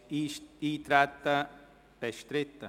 Ist das Eintreten bestritten?